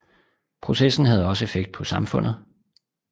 Processen havde også effekt på samfundet